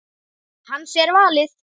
Hans er valið.